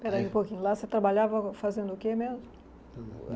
Peraí um pouquinho, lá você trabalhava fazendo o que mesmo?